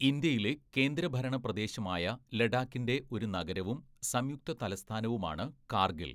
ഇന്ത്യയിലെ കേന്ദ്രഭരണ പ്രദേശമായ ലഡാക്കിന്റെ ഒരു നഗരവും സംയുക്ത തലസ്ഥാനവുമാണ് കാർഗിൽ.